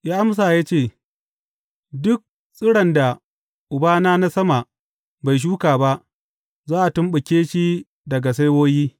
Ya amsa ya ce, Duk tsiron da Ubana na sama bai shuka ba, za a tumɓuke shi daga saiwoyi.